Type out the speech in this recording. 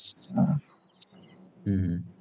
हा